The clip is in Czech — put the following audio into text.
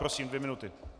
Prosím, dvě minuty.